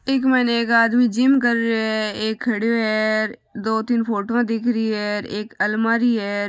एक माइन एक आदमी जिम कर रो है एक खड़ो है दो तीन फोटो दिख रही है एक अलमारी है।